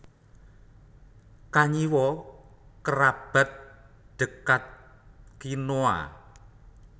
Kanyiwa kerabat dekatkinoa